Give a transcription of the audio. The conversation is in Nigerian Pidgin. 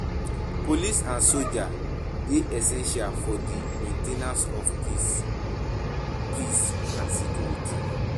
Police and soldier dey essential for di main ten ance of of peace and security